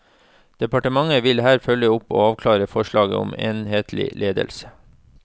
Departementet vil her følge opp og avklare forslaget om enhetlig ledelse.